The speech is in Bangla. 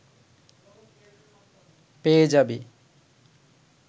পেয়ে যাবি